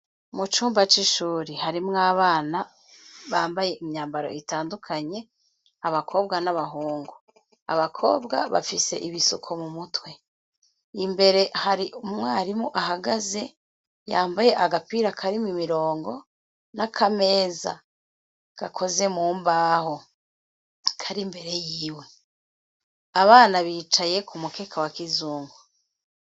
Mu cumba c'ishure harimwo abana bambaye imyambaro itandukanye, abakobwa n'abahungu abakobwa bafise ibisuko mu mutwe. Imbere hari umwarimu ahagaze yambaye agapira karimwo imirongo n'akameza gakoze mu mbaho kari imbere yiwe abana bicaye ku mukeka wa kizungu.